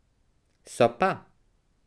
So pa.